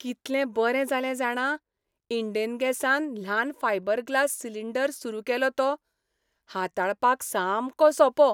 कितलें बरें जालें जाणा इंडेन गॅसान ल्हान फायबर ग्लास सिलिंडर सुरू केलो तो. हाताळपाक सामको सोंपो.